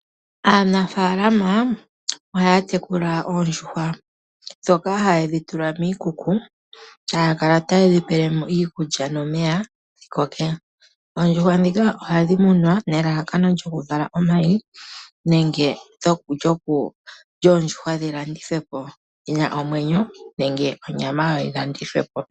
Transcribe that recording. Aanafaalama ohaya tekula oondjuhwa ndhoka haye dhitula miikuku taya kala ta yedhipele mo iikulya nomeya dhi koke. Oondjuhwa ndhika ohadhi munwa nelalakano lyokuvala omayi nenge lyoondjuhwa dhi landithwe po dhina omwenyo nenge onyama yadho yilandithwe po.